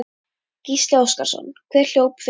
Gísli Óskarsson: Hver hljóp fyrir þig?